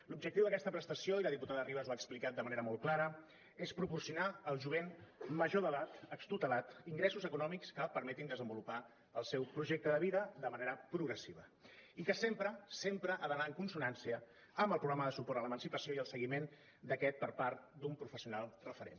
l’objectiu d’aquesta prestació i la diputada ribas ho ha explicat de manera molt clara és proporcionar al jovent major d’edat extutelat ingressos econòmics que permetin desenvolupar el seu projecte de vida de manera progressiva i que sempre sempre ha d’anar en consonància amb el programa de suport a l’emancipació i al seguiment d’aquest per part d’un professional referent